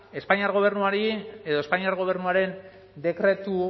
espainiar gobernuaren dekretu